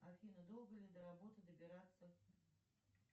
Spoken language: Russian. афина долго ли до работы добираться